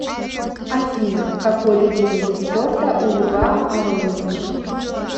афина какой любимый вид спорта у льва ароновича